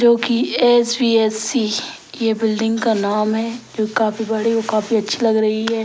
जो एस.भी.एस.सी. ये बिल्डिंग का नाम है जो काफी बड़े और काफी अच्छी लग रही है।